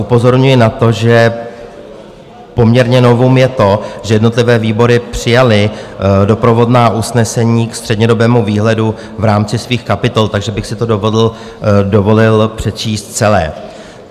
Upozorňuji na to, že poměrně novum je to, že jednotlivé výbory přijaly doprovodná usnesení k střednědobému výhledu v rámci svých kapitol, takže bych si to dovolil přečíst celé.